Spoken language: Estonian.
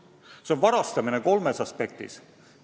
Ja see on varastamine kolmest aspektist.